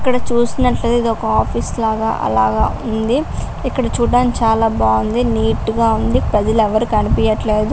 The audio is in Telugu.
ఇక్కడ చూసినట్లయితే ఏదో ఒక ఆఫీసు లాగా ఉంది. ఇక్కడ చూడ్డానికి చాలా బాగుంది. నీట్ గా ఉంది. గదిలో ఎవరూ కనిపియట్లేదు.